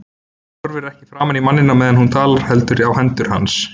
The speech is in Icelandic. Hún horfir ekki framan í manninn á meðan hún talar heldur á hendur hans.